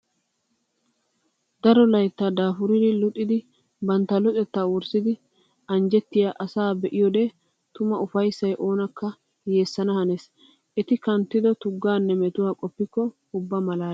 Daro laytta daafuriddi luxiddi bantta luxetta wurssiddi anjjettiya asaa be'iyoode tuma ufayssay oonakka yeesana hanees. Etti kanttiddo tugganne metuwa qoppikko ubba malaales.